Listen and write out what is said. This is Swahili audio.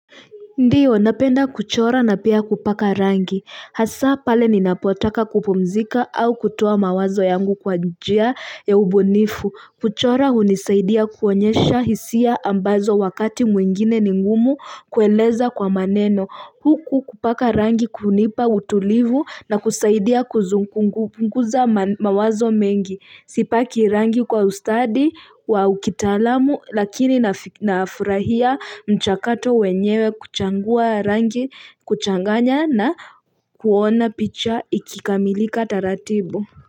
Ndiyo, napenda kuchora na pia kupaka rangi. Hasa pale ninapotaka kupumzika au kutoa mawazo yangu kwa njia ya ubunifu. Kuchora hunisaidia kuonyesha hisia ambazo wakati mwingine ningumu kueleza kwa maneno. Huku kupaka rangi kunipa utulivu na kusaidia kupunguza mawazo mengi. Sipaki rangi kwa ustadi wa ukitaalamu lakini nafurahia mchakato wenyewe kuchangua rangi kuchanganya na kuona picha ikikamilika taratibu.